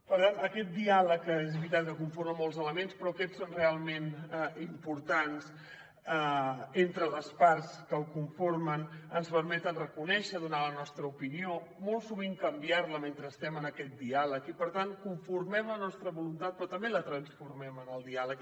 per tant aquest diàleg que és veritat que el conformen molts elements però aquests són realment importants entre les parts que el conformen ens permeten reconèixer donar la nostra opinió molt sovint canviar la mentre estem en aquest diàleg i per tant conformem la nostra voluntat però també la transformem en el diàleg